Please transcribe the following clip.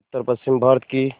उत्तरपश्चिमी भारत की